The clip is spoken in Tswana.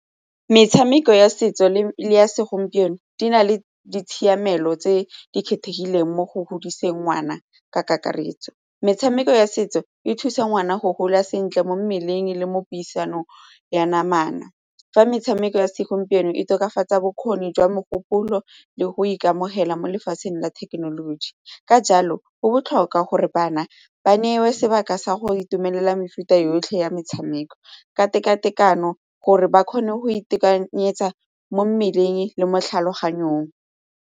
Metshameko ya setso le ya segompieno di na le ditshiamelo tse di kgethegileng mo go godisa ngwana ka kakaretso. Metshameko ya setso e thusa ngwana go gola sentle mo mmeleng le mo puisanong ya namana fa metshameko ya segompieno e tokafatsa bokgoni jwa mogopolo le go ikamogela mo lefatsheng la thekenoloji ka jalo go botlhokwa gore bana ba neiwe sebaka sa go itumelela mefuta yotlhe ya metshameko ka tekatekano gore ba kgone go itekanyetsa mo mmeleng le mo tlhaloganyong.